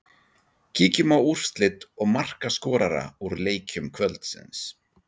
Kíkjum á úrslit og markaskorara úr leikjum kvöldsins.